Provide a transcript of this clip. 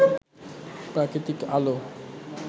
প্রাকৃতিক আলো